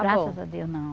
Graças a Deus, não.